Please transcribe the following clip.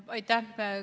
Aitäh!